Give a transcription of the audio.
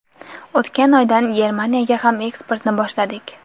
O‘tgan oydan Germaniyaga ham eksportni boshladik.